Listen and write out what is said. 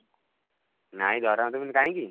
ନାଇଁ ଦରମା ଦେବେନି କାହିଁକି?